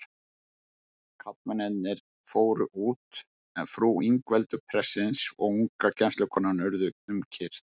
Karlmennirnir fóru út, en frú Ingveldur prestsins og unga kennslukonan urðu um kyrrt.